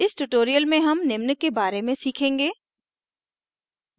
इस tutorial में हम निम्न के बारे में सीखेंगे